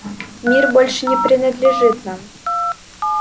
мир больше не принадлежит нам